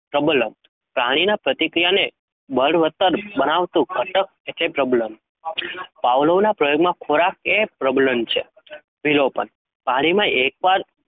પ્રબલન પાણીના પ્રતિક્રિયાને બળવત્તર બનાવતું ઘટક એટલે પ્રબલન. Pavlov ના પ્રયોગમાં ખોરાક એ પ્રબલન છે. વિલોપન પાણીમાં એકવાર